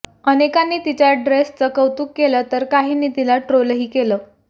अनेकांनी तिच्या ड्रेसचं कौतुक केलं तर काहींनी तिला ट्रोलही केलं आहे